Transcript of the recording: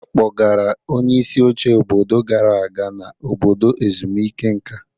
A kpọgara onyeisi oche obodo gara aga na obodo ezumike nka.